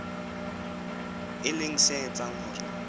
e leng se etsang hore